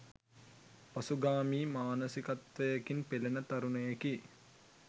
පසුගාමී මානසිකත්වයකින් පෙළෙන තරුණයෙකි